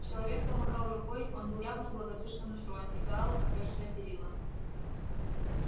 человек помахал рукой он был явно благодушно настроен и гаал опёрся о перила